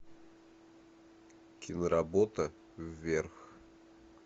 киноработа вверх